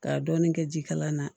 K'a dɔɔnin kɛ jikalan na